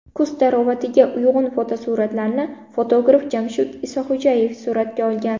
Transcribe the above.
Kuz tarovatiga uyg‘un fotosuratlarni fotograf Jamshid Isaxo‘jayev suratga olgan.